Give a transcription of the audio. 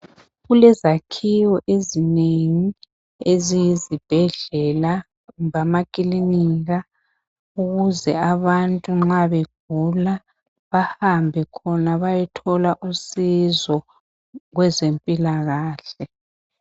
Kulezakhiwo ezinengi eziyizibhedlela, kumbe ama kilinika, ukuze abantu nxa begula bahambe khona bayethola usizo kwezempilakahle.